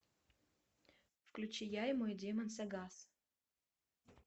включи я и мой демон сагас